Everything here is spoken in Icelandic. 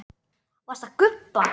Varstu að gubba?